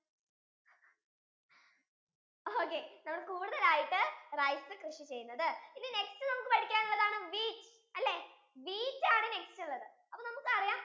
okay നമ്മൾ കൂടുതൽ ആയിട്ടു rice കൃഷി ചെയ്യുന്നത് ഇനി next നമുക്ക് പഠിക്കാൻ ഉള്ളതാണ് wheat അല്ലെ wheat ആണ് next ഉള്ളത്, അപ്പൊ നമുക്ക് അറിയാം